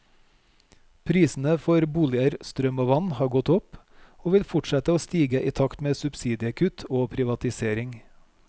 Prisene for boliger, strøm og vann har gått opp, og vil fortsette å stige i takt med subsidiekutt og privatisering.